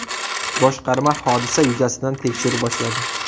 Boshqarma hodisa yuzasidan tekshiruv boshladi.